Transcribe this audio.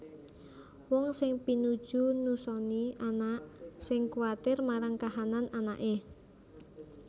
Wong sing pinuju nusoni anak sing kuwatir marang kahanan anaké